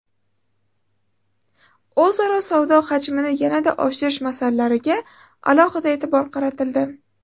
O‘zaro savdo hajmini yanada oshirish masalalariga alohida e’tibor qaratildi.